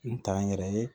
N t'an yɛrɛ ye